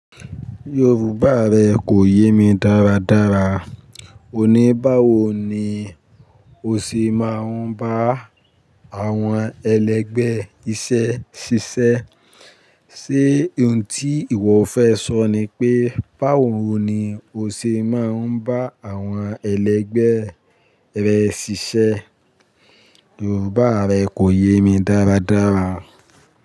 Yorùbá rẹ kò yé mi dáradára. Òní báwo ni o ṣe máa ń bá àwọn ẹlẹgbẹ́ iṣẹ́ ṣiṣẹ́? Ṣé ohun tí ìwọ fẹ́ sọ ni pé, báwo ni o ṣe máa ń bá àwọn ẹlẹgbẹ́ rẹ ṣiṣẹ́? Yorùbá rẹ kò yé mi dáradára.